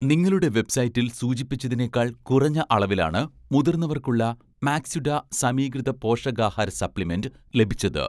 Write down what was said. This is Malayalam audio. നിങ്ങളുടെ വെബ്‌സൈറ്റിൽ സൂചിപ്പിച്ചതിനേക്കാൾ കുറഞ്ഞ അളവിലാണ്, മുതിർന്നവർക്കുള്ള 'മാക്സ്വിട' സമീകൃത പോഷകാഹാര സപ്ലിമെന്റ് ലഭിച്ചത്